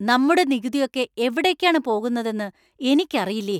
നമ്മുടെ നികുതി ഒക്കെ എവിടേക്കാണ് പോകുന്നതെന്ന് എനിക്കറിയില്ലേ .